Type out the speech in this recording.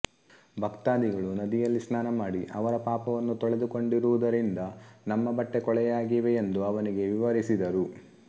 ಭಕ್ತಾದಿಗಳು ನದಿಯಲ್ಲಿ ಸ್ನಾನಮಾಡಿ ಅವರ ಪಾಪವನ್ನು ತೊಳೆದು ಕೊಂಡಿರುವುದರಿಂದ ನಮ್ಮ ಬಟ್ಟೆ ಕೊಳೆಯಾಗಿವೆ ಎಂದು ಅವನಿಗೆ ವಿವರಿಸಿದರು